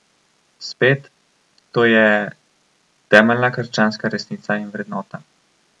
Spet, to je temeljna krščanska resnica in vrednota.